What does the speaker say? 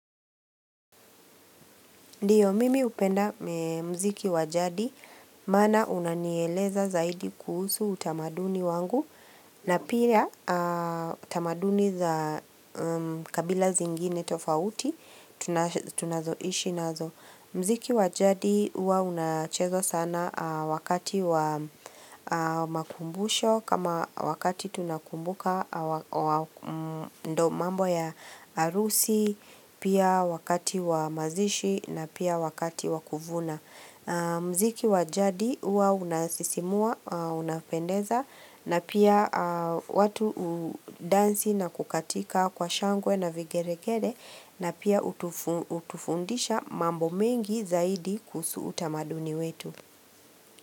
Ndiyo mimi hupenda muziki wa jadi maana unanieleza zaidi kuhusu utamaduni wangu na pia utamaduni za kabila zingine tofauti tunazoishi nazo. Muziki wa jadi huwa unachezwa sana wakati wa makumbusho kama wakati tunakumbuka ndiyo mambo ya harusi, pia wakati wa mazishi na pia wakati wa kuvuna. Muziki wa jadi huwa unasisimua, unapendeza na pia watu hudensi na kukatika kwa shangwe na vigelegele na pia hutufundisha mambo mengi zaidi kuhusu utamaduni wetu.